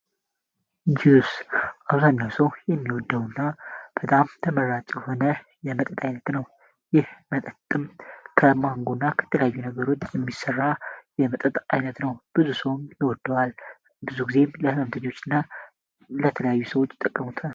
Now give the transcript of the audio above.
ጁስ አብዛኛው ሰው የሚወደው እና በጣም ተመራጭ ሆነር የመጠት ዓይነት ነው ይህ መጠጥም ከማንጎ እና ከተላዩ ነገሩድ የሚሰራ የመጠጥ ዓይነት ነው ብዙ ሰውን ይወደዋል ብዙ ጊዜም ለህመምተኞች እና ለተለዩ ሰዎች ይጠቀሙታል።